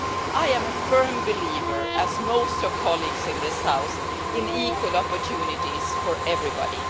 I am a firm believer, as are most of my colleagues in this House, in equal opportunities for everybody.